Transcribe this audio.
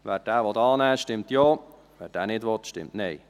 Wer diesen annehmen will, stimmt Ja, wer diesen nicht will, stimmt Nein.